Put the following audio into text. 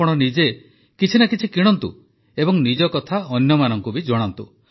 ଆପଣ ନିଜେ କିଛି ନା କିଛି କିଣନ୍ତୁ ଏବଂ ନିଜ କଥା ଅନ୍ୟମାନଙ୍କୁ ବି ଜଣାନ୍ତୁ